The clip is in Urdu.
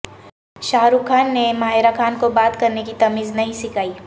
شاہ رخ خان نے ماہرہ خان کو بات کرنے کی تمیز نہیں سکھائی